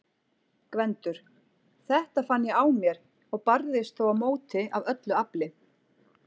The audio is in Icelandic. GVENDUR: Þetta fann ég á mér- og barðist þó á móti af öllu afli.